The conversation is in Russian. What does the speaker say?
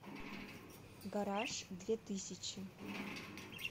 гараж две тысячи